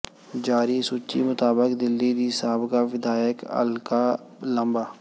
ਜਾਰੀ ਸੂਚੀ ਮੁਤਾਬਕ ਦਿੱਲੀ ਦੀ ਸਾਬਕਾ ਵਿਧਾਇਕ ਅਲਕਾ ਲਾਂਬਾ